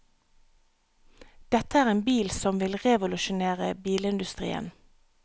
Dette er en bil som vil revolusjonere bilindustrien.